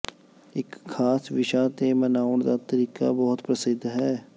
ਇੱਕ ਖਾਸ ਵਿਸ਼ਾ ਤੇ ਮਨਾਉਣ ਦਾ ਤਰੀਕਾ ਬਹੁਤ ਪ੍ਰਸਿੱਧ ਹੈ